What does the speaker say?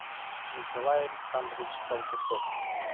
николай александрович толкачев